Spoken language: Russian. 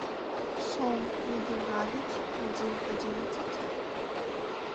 шоу иды галич один одиннадцать